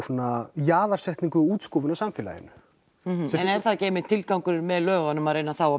jaðarsetningu og útskúfun í samfélaginu en er það ekki einmitt tilgangurinn með lögunum að